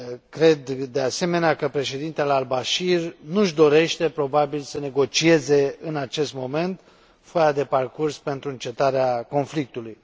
Cred, de asemenea, că președintele al Bashir nu și dorește probabil să negocieze în acest moment foaia de parcurs pentru încetarea conflictului.